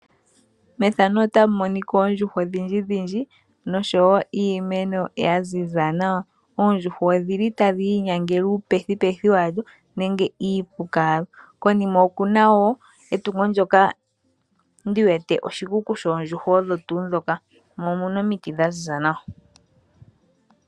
Methano otamu monika oondjuhwa odhindji dhidhindji nosho wo iimeno ya ziza nawa. Oondjuhwa odhili tadhi inyangele uu pethipethi wadho nenge iipuka wadho. Konima okuna wo etungo lyoka ndi wete oshikuku shoondjuhwa odho tuu dhoka, mo omuna omutu dha ziza nawa.